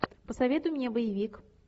посоветуй мне боевик